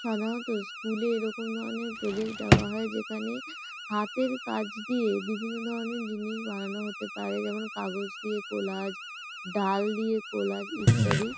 সাধারণত স্কুল এ এরকম ধরনের প্রোজেক্ট দেওয়া হয় যেখানে হাতের কাজ দিয়ে বিভিন্ন ধরনের জিনিস বানানো হতে পারে। যেমন কাগজ দিয়ে কলাজ ডাল দিয়ে কলাজ ইত্যাদি।